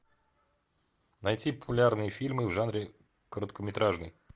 найти популярные фильмы в жанре короткометражный